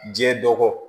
Diɲɛ dɔkɔ